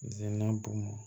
Zenina bɔn